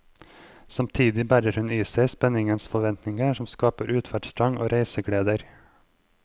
Samtidig bærer hun i seg spenningens forventninger som skaper utferdstrang og reisegleder.